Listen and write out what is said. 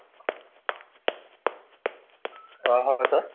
অহ হয় sir